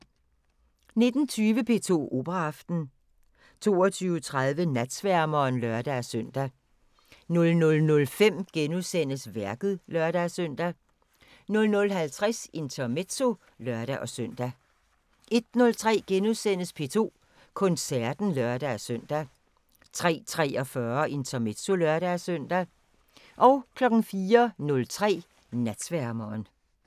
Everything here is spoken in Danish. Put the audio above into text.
19:20: P2 Operaaften 22:30: Natsværmeren (lør-søn) 00:05: Værket *(lør-søn) 00:50: Intermezzo (lør-søn) 01:03: P2 Koncerten *(lør-søn) 03:43: Intermezzo (lør-søn) 04:03: Natsværmeren